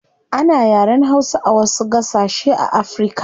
Ana yaren hausa a wasu gasashe a africa